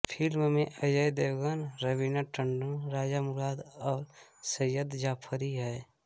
film में अजय देवगन रवीना टंडन रज़ा मुराद और सईद जाफ़री हैं